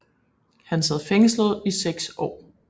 Han sad fængslet i 6 år